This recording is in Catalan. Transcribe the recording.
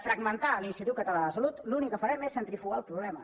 fragmentar l’institut català de la salut l’únic que farem és centrifugar el problema